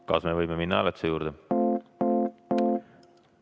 Kas me võime minna hääletuse juurde?